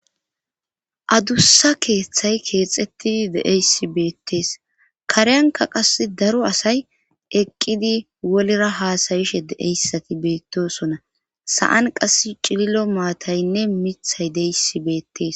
Adussa keeththay keexettidi deeyssi beettees kareyanka qas daro asay eqqidi wolera haasayishe deeyssati beettosona saan qas cililo maataynne mithay deyissi beettees